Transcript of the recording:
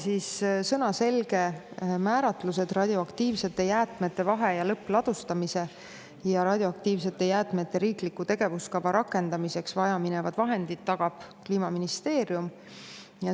Selge sõnaga, et radioaktiivsete jäätmete vahe- ja lõppladustamiseks ja radioaktiivsete jäätmete riikliku tegevuskava rakendamiseks vaja minevad tagab Kliimaministeerium.